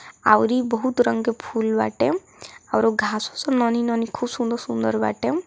आवरी बहुत रंग के फुल बाटे औरो घास वास के नोनी नोनी खूब सुन्दर सुन्दर बाटे।